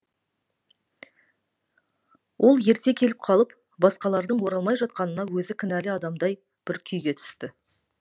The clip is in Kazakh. ол ерте келіп қалып басқалардың оралмай жатқанына өзі кінәлі адамдай бір күйге түсті